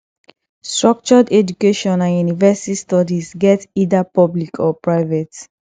structured education and university studies get either public or private